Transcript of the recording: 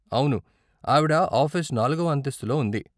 అవును, ఆవిడ ఆఫీస్ నాలుగవ అంతస్తులో ఉంది.